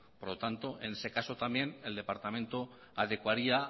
por lo tanto en ese caso también el departamento adecuaría